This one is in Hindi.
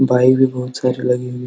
बाइक भी बहोत सारी लगी हुई --